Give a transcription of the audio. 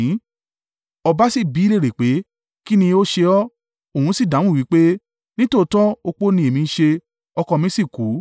Ọba sì bi í léèrè pé, “Kín ni o ṣe ọ́?” Òun sì dáhùn wí pé, “Nítòótọ́ opó ni èmi ń ṣe, ọkọ mi sì kú.